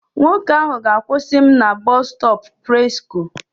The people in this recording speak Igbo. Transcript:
Nwoke ahụ ga-akwụsị m na Bọstọpụ Presko.